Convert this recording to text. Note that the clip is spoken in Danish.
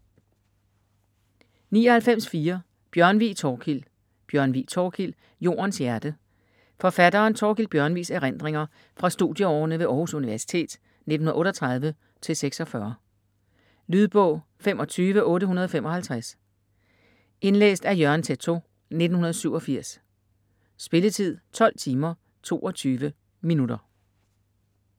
99.4 Bjørnvig, Thorkild Bjørnvig, Thorkild: Jordens hjerte Forfatteren Thorkild Bjørnvigs erindringer fra studieårene ved Århus Universitet 1938-1946. Lydbog 25855 Indlæst af Jørgen Teytaud, 1987. Spilletid: 12 timer, 22 minutter.